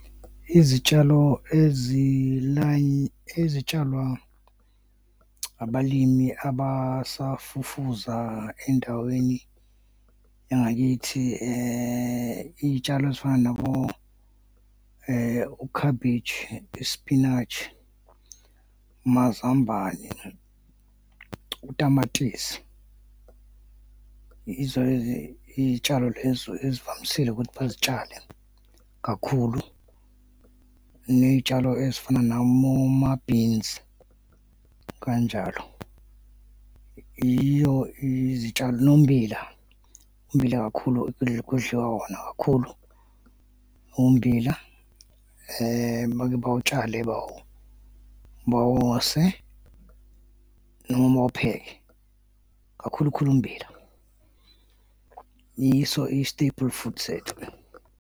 Izitshalo ezitshalwa abalimi abasafufuza endaweni yangakithi iy'tshalo ezifana nabo u-cabbage, u-spinach, amazambane, utamatisi, yizo lezo iy'tshalo lezo ezivamisile ukuthi bazitshale kakhulu, ney'tshalo ezifana naboma-beans kanjalo, iyo nommbila. Ummbila kakhulu, kudliwa wona kakhulu, ummbila bake bawutshale bawose noma bawupheke, kakhulu khulu ummbila. Yiso i-staple food sethu-ke.